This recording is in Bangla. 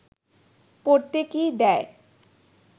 পড়তে কি দেয়